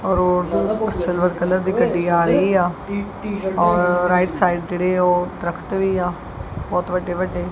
Road ਤੋ silver colour ਦੀ ਗੱਡੀ ਆ ਰਹੀ ਆ ਔਰ ਰਾਈਟ ਸਾਈਡ ਜਿਹੜੇ ਉਹ ਦਰਖਤ ਵੀ ਆ ਬਹੁਤ ਵੱਡੇ ਵੱਡੇ।